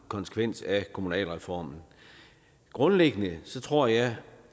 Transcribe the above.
konsekvens af kommunalreformen grundlæggende tror jeg